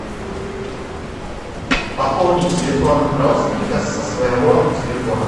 пополнить телефон родственника со своего телефона